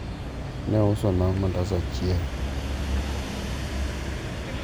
ne ousona mandas achiel